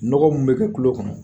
Nɔgɔ mun be kɛ kulo kɔnɔ